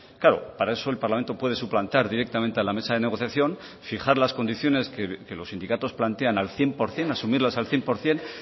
claro para eso el parlamento puede suplantar directamente a la mesa de negociación fijar las condiciones que los sindicatos plantean al cien por ciento asumirlas al cien por ciento